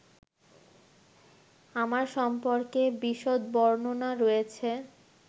আমার সম্পর্কে বিশদ বর্ণনা রয়েছে